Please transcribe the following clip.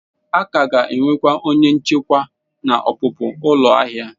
A ka ga-enwe onye nchekwa na ọpụpụ ụlọ ahịa.